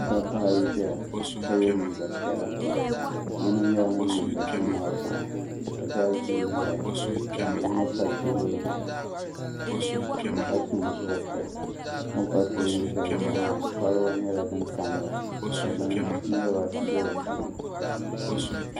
Dabba ayi ʒɛya ka ya liiga piɛla yino nyɛla ŋun mindi duu maa tiŋa ka dusibin ʒɛya ka yino pa teebuli zuɣu ka su nusuriti o ni pa teebuli sheli zuɣu maa koliba nyɛla din tamya ka binyɛra be dipuuni.